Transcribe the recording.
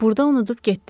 Burda unudub getdi.